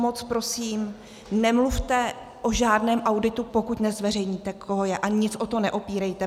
Moc prosím, nemluvte o žádném auditu, pokud nezveřejníte, koho je, a nic o to neopírejte.